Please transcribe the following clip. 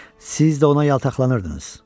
Siz də ona yaltaqlanırdınız.